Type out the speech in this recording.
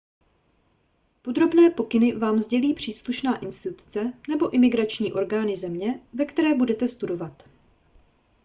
podrobné pokyny vám sdělí příslušná instituce nebo imigrační orgány země ve které budete studovat